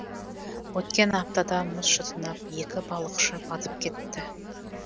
өткен аптада мұз шытынап екі балықшы батып кетті